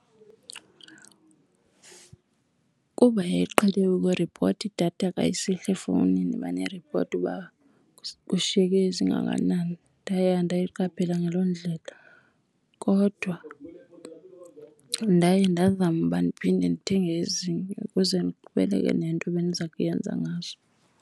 Kuba yayiqhele ukuripota idatha ka isihla efowunini, imane iripoti uba kushiyeke ezingakanani, ndaye andayiqaphela ngaloo ndlela. Kodwa ndaye ndazama uba ndiphinde ndithenge ezinye ukuze ndiqhubeleke nento ebendiza kuyenza ngazo.